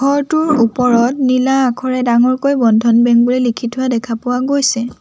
ঘৰটোৰ ওপৰত নীলা আখৰে ডাঙৰকৈ বন্ধন বেংক বুলি লিখি থোৱা দেখা পোৱা গৈছে।